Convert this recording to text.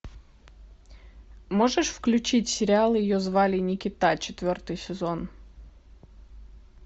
можешь включить сериал ее звали никита четвертый сезон